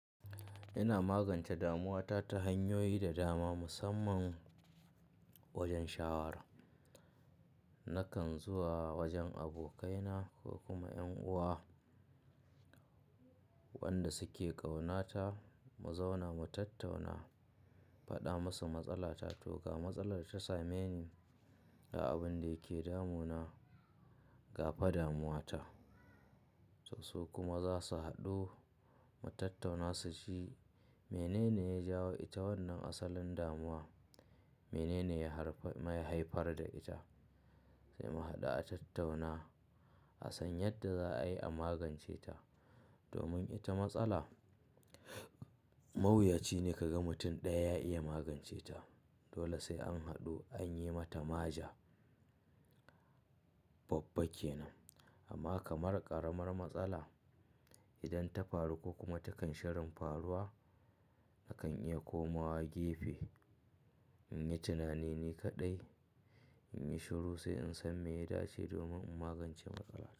Ina magance damuwata ta hanyoyi da dama, musamman wajen shawara. Nakan zuwa wajen abokaina ko kuma ƴan uwa wanda suke ƙaunata, mu zauna mu tattauna, in faɗa musu matsala ta, to ga matsalar da ta same ni ga abun da yake damunana ga fa damuwa ta. So su kuma zasu haɗu mu tattauna su ci menene ya jawo ita wannan asalin damuwa, menene ya haifar da ita. Sai mu haɗu a tattauna, a san yadda za'ayi a magance ta. Domin ita matsala mawuyaci ne kaga mutum ɗaya ya iya magance ta. Dole sai an haɗu, an yi mata maja babba kenan. Amma kamar ƙaramar matsala, idan ta faru ko kuma takan shirin faruwa nakan iya komawa gefe, inyi tunani ni kaɗai, inyi shiru sai in san me ya dace domin in magance matsala.